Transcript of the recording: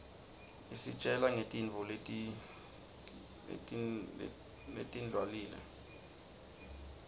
isitjgla nqgtintfo letindwlile